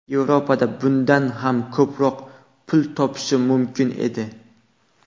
Yevropada bundan ham ko‘proq pul topishim mumkin edi.